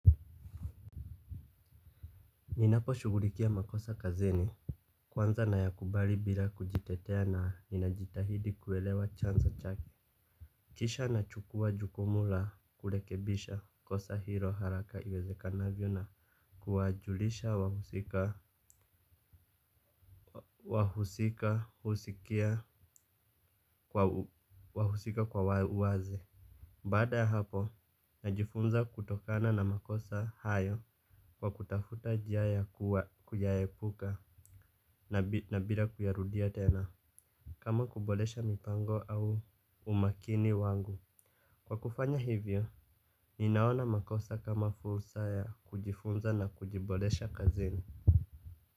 Ninaposhughulikia makosa kazini kwanza na yakubali bila kujitetea na ninajitahidi kuelewa chanzo chake kisha na chukua jukumu la kurekebisha kosa hilo haraka iwezekanavyo na kuwajulisha wahusika. Wahusika husikia kwa wahusika kwa uwazi baada ya hapo najifunza kutokana na makosa hayo kwa kutafuta njia ya kuyaepuka nabira kuyarudia tena kama kuboresha mipango au umakini wangu kwa kufanya hivyo, ninaona makosa kama fursa ya kujifunza na kujiboresha kazini.